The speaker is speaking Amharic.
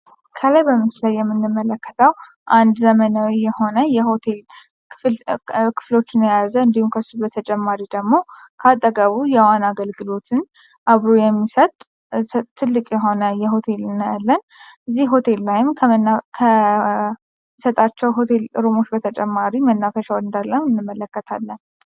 ከላይ በምስሉ ላይ የምንመለከተው አንድ ዘመናዊ የሆነ የሆቴል ክፍሎች የያዘ እንዲሁም ከሱ በተጨማሪ ደግሞ ከአጠገቡ የዋና አገልግሎትም አብሮ የሚሰጥ ትልቅ የሆነ ሆቴል እናያለን። እዚህ ሆቴል ላይ ከሚሰጣቸው ሆቴል ጥቅሞች በተጨማሪ መናፈሻ ይመለከታል።